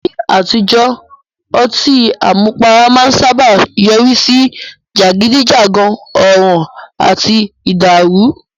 Ní àtijọ́, ọtí àmupara máa ń sáábà yọrí sí jàgídíjàgan, ọ̀ràn àti ìdàrù.